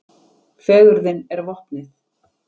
Fegurðin er vopnið.